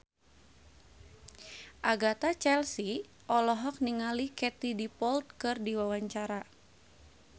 Agatha Chelsea olohok ningali Katie Dippold keur diwawancara